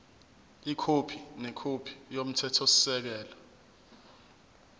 ikhophi nekhophi yomthethosisekelo